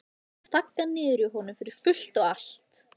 Ég hef þaggað niður í honum fyrir fullt og allt.